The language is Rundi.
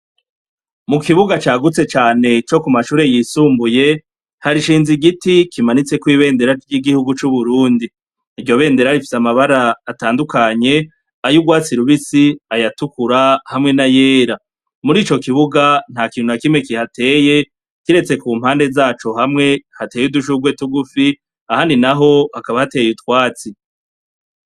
Mu kibuga cagutse cane co ku mashure yisumbuye, hashinze igiti kimanutseko ibendera ry'igihugu cub'Uburundi. Iryo bendera rifise amabara atandukanye ay'urwatsi rubisi, ayatukura hamwe n'ayera. Murico kibuga ntakintu na kimwe kihateye kiretse ku mpande zaco hamwe hateye udushurwe tugufi ahandi naho hakaba hateye utwatsi.